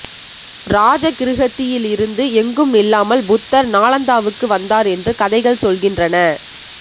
ராஜகிருஹத்தில் இருந்து எங்கும் நில்லாமல் புத்தர் நாளந்தாவுக்கு வந்தார் என்று கதைகள் சொல்கின்றன